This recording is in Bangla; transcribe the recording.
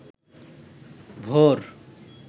ভোর